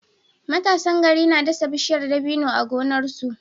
Matasan gari na dasa bishiyar dabino a gonarsu